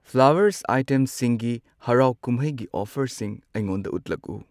Flowers ꯑꯥꯏꯇꯦꯝꯁꯤꯡꯒꯤ ꯍꯔꯥꯎ ꯀꯨꯝꯍꯩꯒꯤ ꯑꯣꯐꯔꯁꯤꯡ ꯑꯩꯉꯣꯟꯗ ꯎꯠꯂꯛꯎ꯫